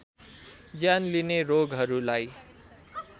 ज्यान लिने रोगहरुलाई